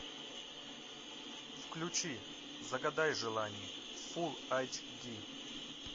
включи загадай желание фулл айч ди